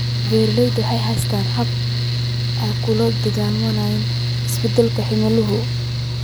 Beeraleydu ma haystaan ??habab ay kula dagaallamaan isbeddelka cimilada.